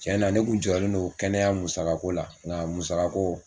Tiɲɛna ne kun jɔrɔlen don kɛnɛya musaka ko la nga a musaka ko